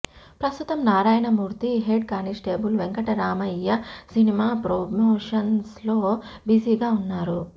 ప్రస్తుతం Narayanamurthy head constable Venkataramayya cinema promotions లో busy గా ఉన్నారు